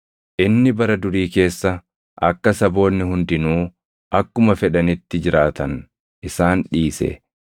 Inni bara durii keessa akka saboonni hundinuu akkuma fedhanitti jiraatan isaan dhiise;